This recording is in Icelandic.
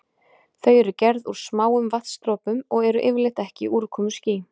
Þau eru gerð úr smáum vatnsdropum og eru yfirleitt ekki úrkomuský.